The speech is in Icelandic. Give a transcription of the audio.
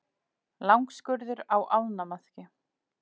Langskurður á ánamaðki.